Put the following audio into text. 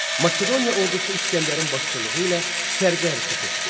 Makedoniya ordusu İsgəndərin başçılığı ilə şərqə hərəkət etdi.